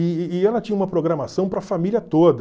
E e e ela tinha uma programação para a família toda.